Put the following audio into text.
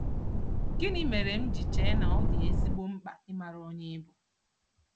Gịnị mere m ji chee na ọ dị ezigbo mkpa ịmara onye ị bụ?